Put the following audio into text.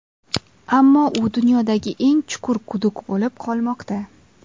Ammo u dunyodagi eng chuqur quduq bo‘lib qolmoqda.